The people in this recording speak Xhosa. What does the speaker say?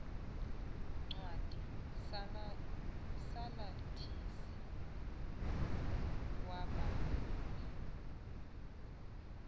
ncwadi salathisi yabagula